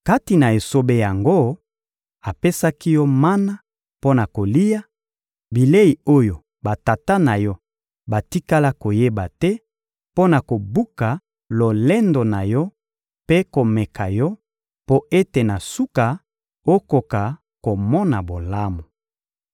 Kati na esobe yango, apesaki yo mana mpo na kolia, bilei oyo batata na yo batikala koyeba te, mpo na kobuka lolendo na yo mpe komeka yo, mpo ete na suka, okoka komona bolamu.